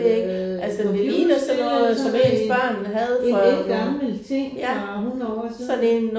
Øh computerspil eller sådan noget en en ældgammel ting fra 100 år siden